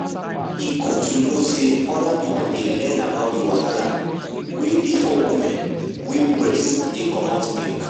e good to know say other people dey learn about the wahala wey dey for women wey breast dey comot milk.